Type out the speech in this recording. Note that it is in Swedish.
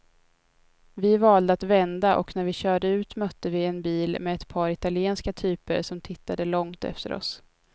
Vi valde att vända och när vi körde ut mötte vi en bil med ett par italienska typer som tittade långt efter oss.